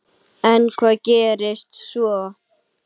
En hvað gerist svo?